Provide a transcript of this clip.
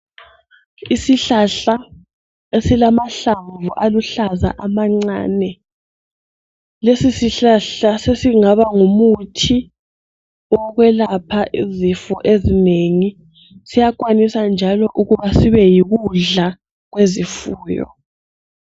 Isihlahla esilamahlamvu aluhlaza amancane lesi sihlahla sesingaba ngumuthi wokwelapha izifo ezinengi siyakwanisa njalo ukuba sibe yikudla kwezifuyo.